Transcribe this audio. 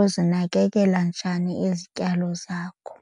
uzinakekela njani izityalo zakho.